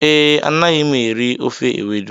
Ee, Anaghị m eri ofe Ewedu.